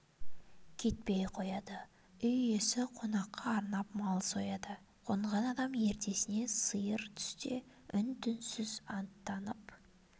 кетпей қояды үй иесі қонаққа арнап мал сояды қонған адам ертесіне сиыр түсте үн-түнсіз атттанып